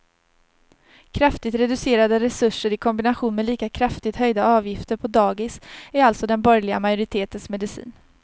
Kraftigt reducerade resurser i kombination med lika kraftigt höjda avgifter på dagis är alltså den borgerliga majoritetens medicin.